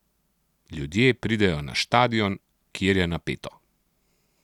Ljudje pridejo na štadion, kjer je napeto.